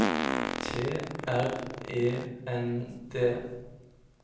T R E N D